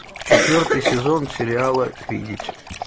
четвертый сезон сериала видеть